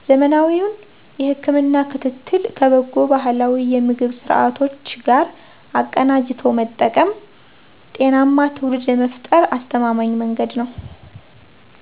ዘመናዊውን የህክምና ክትትል ከበጎ ባህላዊ የምግብ ስርዓቶች ጋር አቀናጅቶ መጠቀም ጤናማ ትውልድ ለመፍጠር አስተማማኝ መንገድ ነው።